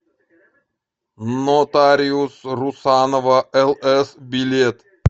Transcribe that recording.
нотариус русанова лс билет